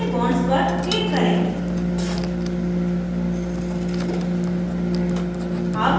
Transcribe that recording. सारे bonds पर click करें